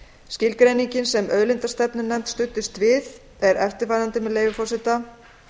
skilgreiningin sem auðlindastefnunefnd studdist við er eftirfarandi með leyfi forseta